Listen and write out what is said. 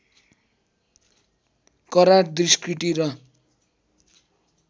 करार दुष्कृति र